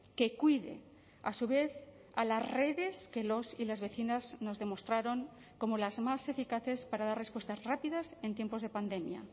que cuide a su vez a las redes que los y las vecinas nos demostraron como las más eficaces para dar respuestas rápidas en tiempos de pandemia